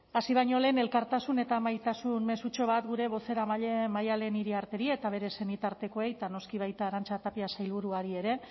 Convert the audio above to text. hasi baino lehen elkartasun eta maitasun mezutxo bat gure bozeramaile maddalen iriarteri eta bere senitartekoei eta noski baita arantza tapia sailburuari ere